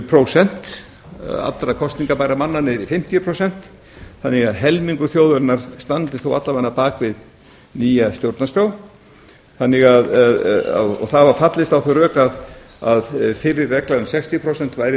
prósent allra kosningabærra manna niður í fimmtíu prósent þannig að helmingur þjóðarinnar standist alla vega bak við nýja stjórnarskrá og það var fallist á þau rök að fyrri regla um sextíu prósent væri